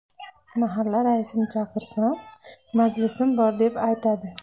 Mahalla raisini chaqirsam, majlisim bor deb aytadi.